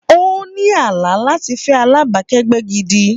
Ó ní àlá láti fẹ́ alábàákẹ́gbẹ́ gidi.